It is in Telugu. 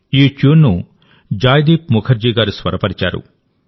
ఈ ట్యూన్ను జాయ్దీప్ ముఖర్జీ గారు స్వరపరిచారు